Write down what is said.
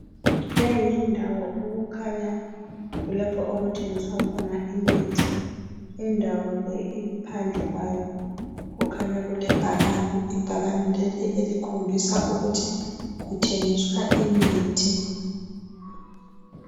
Lyi yindawo okukhanya kulapho okuthengiswa khona imithi. Indawo le iphandle kwayo, kukhanya kulebhakane. Ibhakane leli elikhombisa ukuthi kuthengiswa imithi.